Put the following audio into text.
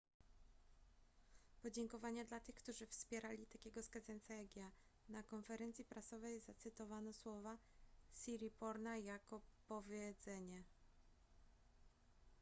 podziękowania dla tych którzy wpierali takiego skazańca jak ja na konferencji prasowej zacytowano słowa siriporna jako powiedzenie